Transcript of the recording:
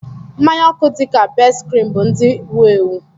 Mmanya oku dị ka Best-cream bụ ndị wu-ewu.